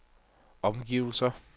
omgivelser